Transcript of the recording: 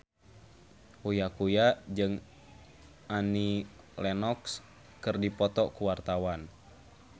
Uya Kuya jeung Annie Lenox keur dipoto ku wartawan